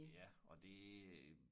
Ja og det øh